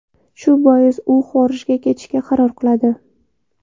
Shu bois, u xorijga ketishga qaror qiladi.